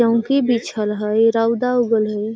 चउकी बिछल हई रउदा उगल हई |